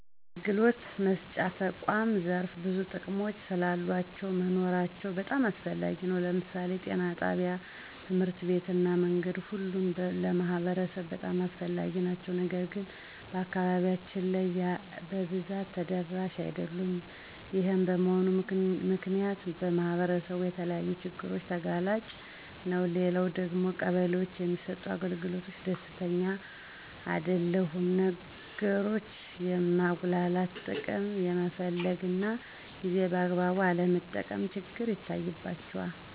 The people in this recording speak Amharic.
የአገልግሎት መስጫ ተቁዓም ዘርፈ ብዙ ጥቅሞች ስላሉአቸው መኖራቸው በጣም አስፈላጊ ነው። ለምሳሌ ጤና ጣቢያ፣ ትምህርት ቤት እና መንገድ ሁሉም ለማህበረሰቡ በጣም አስፈላጊ ናቸው። ነገር ግን በአካባቢያችን ላይ በብዛት ተደራሽ አደሉም። ይሄም በመሆኑ ምክንያት ማህበረሰቡ ለተለያዩ ችግሮች ተጋላጭ ነው። ሌላው ደግሞ ቀበሌዎች በሚሰጡት አገልግሎት ደስተኛ አደለሁም። ነገሮችን የማንጉአተት፣ ጥቅም የመፈለግ እና ጊዜን በአግባቡ አለመጠቀም ችግር ይታይባቸዋል።